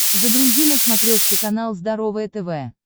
загрузи на смотрешке канал здоровое тв